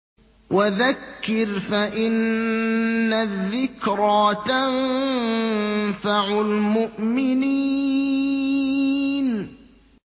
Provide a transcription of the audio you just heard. وَذَكِّرْ فَإِنَّ الذِّكْرَىٰ تَنفَعُ الْمُؤْمِنِينَ